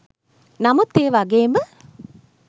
නමුත් ඒ වගේම